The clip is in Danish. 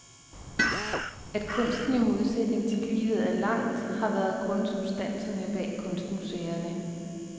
At kunsten i modsætning til livet er lang, har været grundsubstansen bag kunstmuseerne.